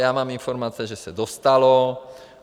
Já mám informace, že se dostalo.